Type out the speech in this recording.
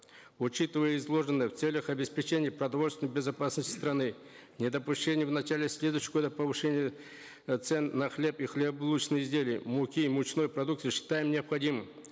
учитывая изложенное в целях обеспечения продовольственной безопасности страны недопущения в начале следующего года повышения э цен на хлеб и хлебобулочные изделия муки и мучной продукции считаем необходимым